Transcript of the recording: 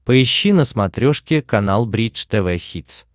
поищи на смотрешке канал бридж тв хитс